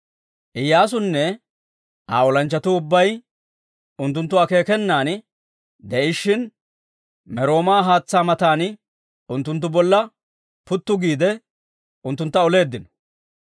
Iyyaasunne Aa olanchchatuu ubbay unttunttu akeekenan de'ishshin Merooma haatsaa matan unttunttu bolla puttu giide, unttuntta oleeddino.